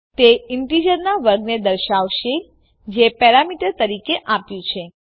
તે ઈન્ટીજરનાં વર્ગને દર્શાવશે જે પેરામીટર તરીકે અપાયું છે